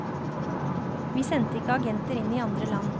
Vi sendte ikke agenter inn i andre land.